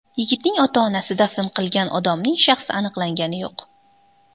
Yigitning ota-onasi dafn qilgan odamning shaxsi aniqlangani yo‘q.